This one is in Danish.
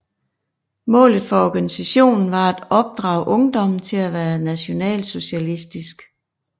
Målet for organisationen var at opdrage ungdommen til at være nationalsocialistisk